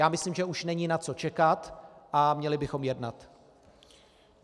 Já myslím, že už není na co čekat a měli bychom jednat.